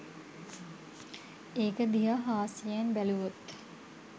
ඒක දිහා හාස්‍යයෙන් බැලුවොත්